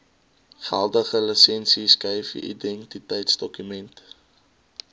geldige lisensieskyfie identiteitsdokument